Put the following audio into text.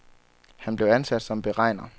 Han blev ansat som beregner.